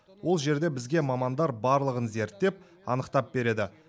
ол жерде бізге мамандар барлығын зерттеп анықтап береді